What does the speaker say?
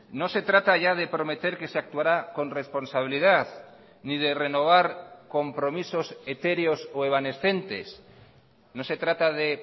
no se trata ya de prometer que se actuará con responsabilidad ni de renovar compromisos etéreos o evanescentes no se trata de